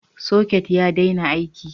Socket ya daina aiki.